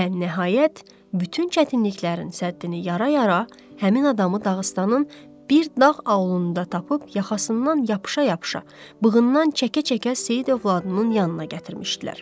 Və nəhayət, bütün çətinliklərin səddini yara-yara həmin adamı Dağıstanın bir dağ aulunda tapıb yaxasından yapışa-yapışa, bığından çəkə-çəkə Seyid övladının yanına gətirmişdilər.